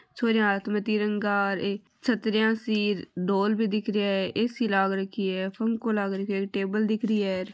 छोरिया हाथ मे तीरंगो ए छतरिया सी ढोल भी दिख रा हैं एसी लाग रखी है पंखों लाग रखो हैं टेबल दिख रही है।